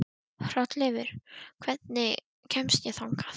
Hrolleifur, hvernig kemst ég þangað?